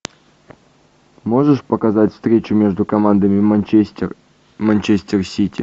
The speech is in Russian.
можешь показать встречу между командами манчестер манчестер сити